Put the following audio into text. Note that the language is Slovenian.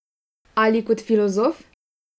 Ali kot filozof?